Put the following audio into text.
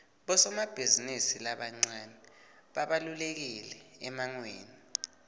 bosomabhizimisi labancane babalulekile emangweni